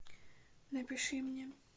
напиши мне